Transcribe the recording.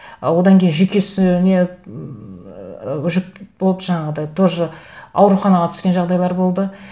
ы одан кейін жүйкесіне ммм жүк болып жаңағыдай тоже ауруханаға түскен жағдайлар болды